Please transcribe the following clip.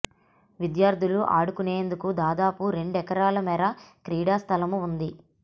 విద్యార్థులు ఆడుకొనేందుకు దాదాపు రెండు ఎకరాల మేర క్రీడా స్థలము ఉంది